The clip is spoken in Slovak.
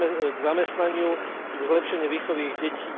k zamestnaniu, k zlepšeniu výchovy ich detí.